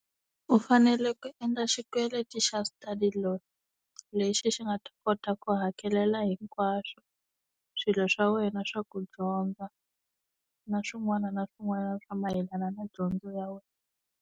U fanele ku endla xikweleti xa study loan lexi xi nga ta kota ku hakelela hinkwaswo swilo swa wena swa ku dyondza, na swin'wana na swin'wana swa mayelana na dyondzo ya wena.